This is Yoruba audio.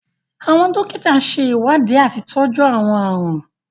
Àwọn dòkíta ṣe iwdíì atí ìtọju àwọn ààrùn.